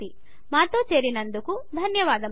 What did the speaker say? మాతో చేరినందుకు ధన్యవాదములు